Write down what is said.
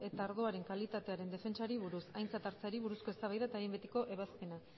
eta ardoaren kalitatearen defentsari buruz aintzat hartzeari buruzko eztabaida eta behin betiko ebazpena